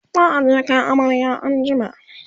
za'a je Kai amarya an jima